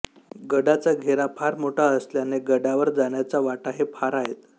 गडाचा घेरा फार मोठा असल्याने गडावर जाण्याच्या वाटाही फार आहेत